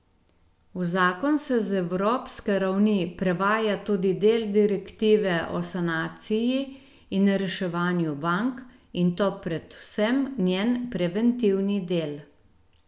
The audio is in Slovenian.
V zakon se z evropske ravni prevaja tudi del direktive o sanaciji in reševanju bank, in to predvsem njen preventivni del.